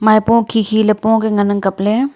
maipo khi khi ley po kiya ngan ang kap ley.